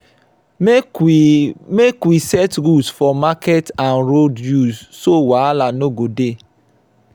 make we make we set rules for market and road use so wahala no go dey.